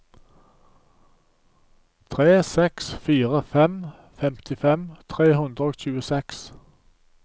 tre seks fire fem femtifem tre hundre og tjueseks